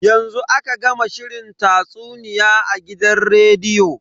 Yanzu aka gama shirin tatsuniya a gidan rediyo.